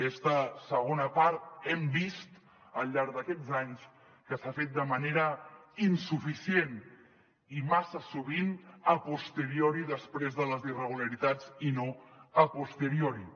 aquesta segona part hem vist al llarg d’aquests anys que s’ha fet de manera insuficient i massa sovint a posteriori després de les irregularitats i no a priori